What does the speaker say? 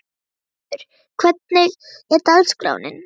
Magnhildur, hvernig er dagskráin?